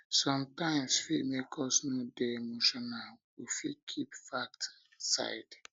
sometimes fit make us no dey emotional we fit keep facts aside